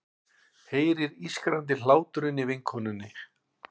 Heyrir ískrandi hláturinn í vinkonunni.